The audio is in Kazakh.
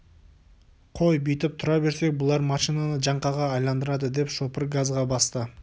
қой бүйтіп тұра берсек бұлар машинаны жаңқаға айналдырады деп шопыр газға басты